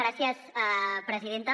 gràcies presidenta